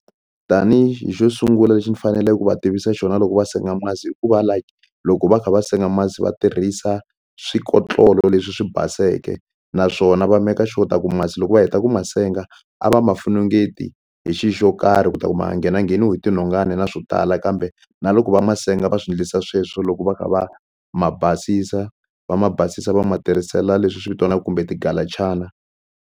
Tanihi xo sungula lexi ni fanele ku va tivisa xona loko va senga masi hikuva loko va kha va senga masi va tirhisa swikotlolo leswi swi baseke naswona va meka sure ta ku masi loko va heta ku ma senga a va ma funungeti hi xi xo karhi ku ta ku ma nga nghena ngheniwi hi tinhongani na swo tala kambe na loko va ma senga va swi ndlisa sweswo loko va kha va ma basisa va ma basisa va ma tirhisela leswi swi vitaniwaku kumbe tigalachana.